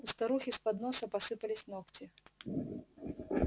у старухи с подноса посыпались ногти